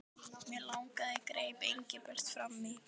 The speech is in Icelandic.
Mig langaði greip Engilbert fram í.